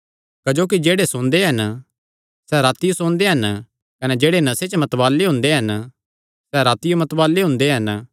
क्जोकि जेह्ड़े सोंदे हन सैह़ रातियो सोंदे हन कने जेह्ड़े नशे च मतवाल़े हुंदे हन सैह़ रातियो मतवाल़े हुंदे हन